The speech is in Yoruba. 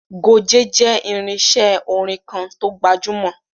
Goge jẹ́ irinṣé orin kan to gbajúmọ̀.